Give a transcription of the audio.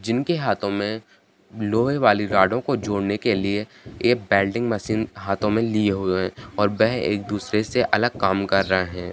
जिनके हाथो में लोहे वाली रोडो को जोड़ने के लिए ए वेल्डिंग मशीन हाथो में लिए हुए है और वे एक दुशरे से अगल कम कर रहे है।